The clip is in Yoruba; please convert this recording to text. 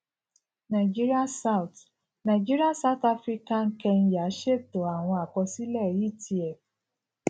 nàìjíríà south nàìjíríà south áfíríkà kenya ṣètò àwọn àkọsílẹ etf